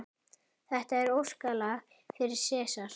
Þetta er óskalag fyrir Sesar.